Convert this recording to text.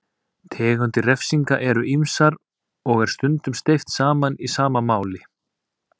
Tegundir refsinga eru ýmsar og er stundum steypt saman í sama máli.